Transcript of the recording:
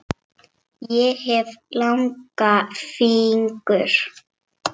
Ég hef langa fingur.